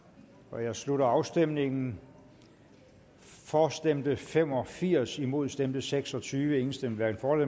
nu jeg slutter afstemningen for stemte fem og firs imod stemte seks og tyve hverken for